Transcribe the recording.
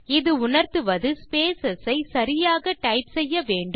இது உணர்த்துவது ஸ்பேஸ் சரியாக டைப் செய்யப்பட வேண்டும்